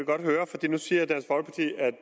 nu siger at der